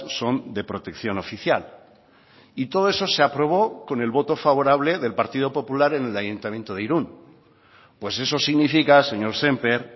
son de protección oficial y todo eso se aprobó con el voto favorable del partido popular en el ayuntamiento de irun pues eso significa señor sémper